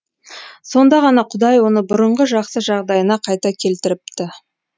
сонда ғана құдай оны бұрынғы жақсы жағдайына қайта келтіріпті